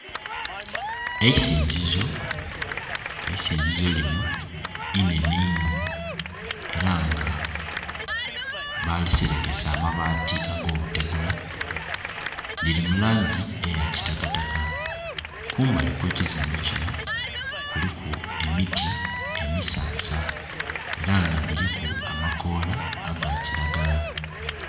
Eisinzizo, eisizizo lino inhenhe inho era nga baliserekesa amabaati ag'obutegula, liri mu langi eya kitakataka. Kumbali kwe kizimbe kino kuliku emiti emisansa era nga dhiriku amakola aga kiragala.